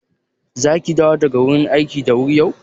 Zaki dawo daga wurin aiki da wuri yau?